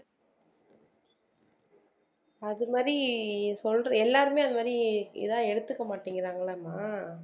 அது மாதிரி சொல்றது எல்லாருமே அந்த மாதிரி இதா எடுத்துக்க மாட்டேங்குறாங்கல்லம்மா